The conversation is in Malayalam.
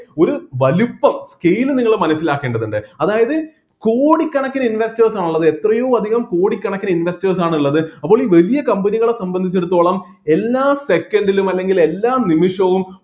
ഒരു വലുപ്പം scale നിങ്ങൾ മനസ്സിലാക്കേണ്ടതുണ്ട് അതായത് കോടികണക്കിന് investors ആണ് ഉള്ളത് എത്രയോ അധികം കോടികണക്കിന് investors ആണ് ഉള്ളത് അപ്പോള് ഈ വലിയ company കളെ സംബന്ധിച്ചിടത്തോളം എല്ലാ second ലും അല്ലെങ്കില് എല്ലാ നിമിഷവും